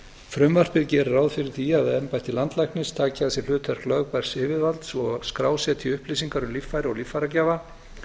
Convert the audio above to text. frumvarpið gerir ráð fyrir því að embætti landlæknis taki að sér hlutverk lögbærs yfirvalds og að skrásetja upplýsingar um líffæri og líffæragjafa